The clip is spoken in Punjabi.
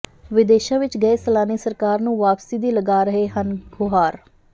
ਵਿਦੇਸ਼ਾ ਵਿਚ ਗਏ ਸੈਲਾਨੀ ਸਰਕਾਰ ਨੂੰ ਵਾਪਸੀ ਦੀ ਲਗਾਏ ਰਹੇ ਹਨ ਗੁਹਾਰ